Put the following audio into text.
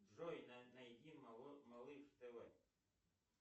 джой найди малыш тв